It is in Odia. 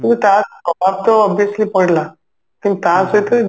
ତା ପ୍ରଭାବ ତ obviously ପଇଲା କିନ୍ତୁ ତା ସହିତ